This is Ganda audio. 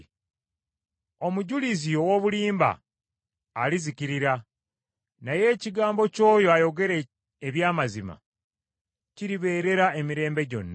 Omujulizi ow’obulimba alizikirira, naye ekigambo ky’oyo ayogera eby’amazima kiribeerera emirembe gyonna.